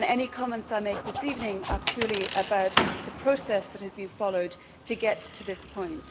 Any comments I make this evening are purely about the process that has been followed to get to this point.